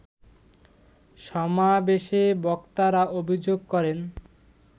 সমাবেশে বক্তারা অভিযোগ করেন